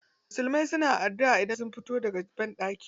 Musulmai na adduʼa idan sun fito daga banɗaki.